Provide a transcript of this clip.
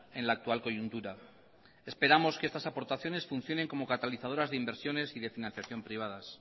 en la actual coyuntura esperamos que estas aportaciones funcionen como catalizadoras de inversiones y de financiación privadas